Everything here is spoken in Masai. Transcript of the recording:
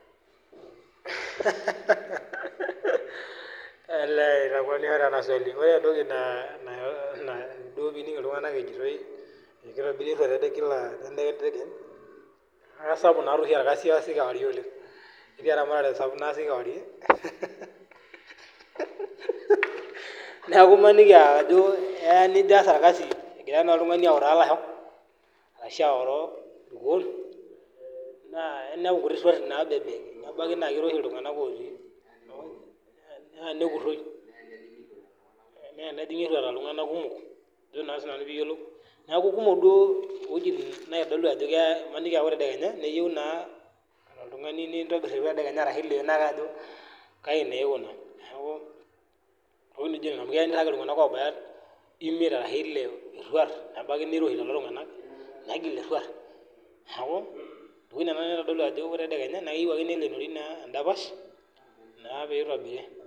Hehehe olee eitakuenisha taa ena swali. Ore etoki naa duo pining iltunganak ejoitoi ekitobiri eruat kila nekunyu. Naa kesapuk naa oshi orkazi oasi kewarie oleng. Ketii eramatare naasi kaarie hehehehe. Neaku maniki ajo eya nijo aas orkazi egira naa oltungani autaa ilasho ashu aoroo irkuon naa, inepu kuti ruati nabebek. Nabaiki naa kiroshi iltunganak otii inaa olong naa nekuroi. Neya nejingi eruat aa iltunganak kumok ajo naa sinanu pee iyiolou. Neaku kumok duo iweujitin naitodolu ajo maniki ah ore tendekenya neyieu naa oltungani nitobir ewueji ashu ileenoo ake ajo kaji naa ikuna. Neaku naijo nena amu keya nirag iltunganak obaya imiet arashu ile eruat nabaiki niroshi lelo tunganak negil eruat. Neaku iweujitin nena naitodolu ajo ore tendekenya naa keyieu ake neleenori naa edapash naa pitobiri.